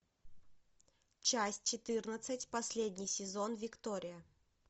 часть четырнадцать последний сезон виктория